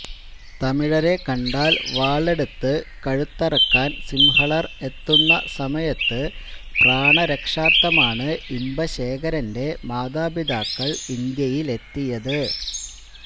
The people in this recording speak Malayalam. തമിഴരെ കണ്ടാൽ വാളെടുത്ത് കഴുത്തറക്കാൻ സിംഹളർ എത്തുന്ന സമയത്ത് പ്രാണരക്ഷാർത്ഥമാണ് ഇമ്പശേഖരന്റെ മാതാപിതാക്കൾ ഇന്ത്യയിലെത്തിയത്